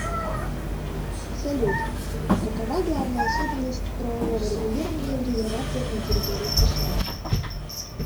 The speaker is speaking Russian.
салют какова главная особенность правового регулирования в резервациях на территории сша